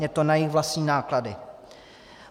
Je to na jejich vlastní náklady.